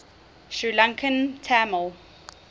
sri lankan tamil